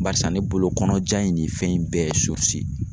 Barisa ne bolo, kɔnɔja ye nin fɛn in bɛɛ ye.